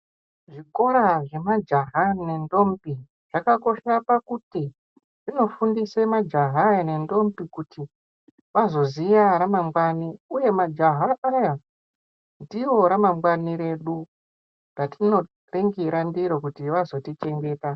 Zvikora zvemajaha nendombi zvakakosha kuti zvinofundisa majaha nendombi kuti vazoziva ramangwani uye majaha Awa ndiro ramangwani redu ratinopengera ndiro kuti vazorishandisa.